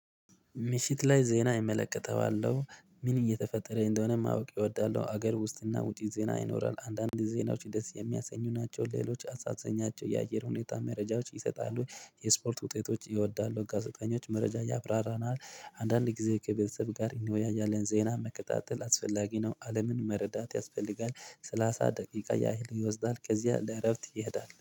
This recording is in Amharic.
ምሽት ላይ ዜና እመለከተዋለሁ ምን እየተፈጠረኝ እንደሆነ ማወቅ እወዳለሁ። ሀገር ውስጥና ውጪ ዜና ይኖራል አንዳንድ ዜናዎች ደስ የሚያሰኙ ናቸው ሌሎች አሳዘኛቸው የአየር ሁኔታ መረጃዎች ይሰጣሉ። የስፖርት ውጤቶች ይወዳሉ ጋዜጠኞች መረጃ ያብራራናል። አንዳንድ ጊዜ ከቤተሰብ ጋር ይኖያያል የዜና መከታተል አስፈላጊ ነው። አለምን መረዳት ያስፈልጋል። ሰላሳ ደቂቃ ያህል ይወስዳል ከዚያ ለእረፍት ይሄዳል